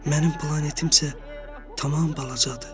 Mənim planetim isə tamam balacadır.